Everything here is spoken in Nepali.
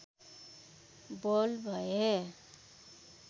बोल्ड भए